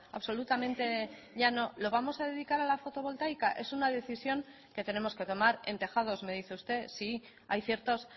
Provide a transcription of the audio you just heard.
absolutamente llano lo vamos a dedicar a la fotovoltaica es una decisión que tenemos que tomar en tejados me dice usted sí hay ciertos